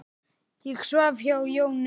Ég svaf hjá Jónu.